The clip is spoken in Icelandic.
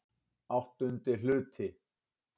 VIII Hluti